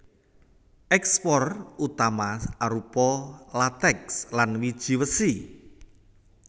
Ékspor utama arupa latèks lan wiji wesi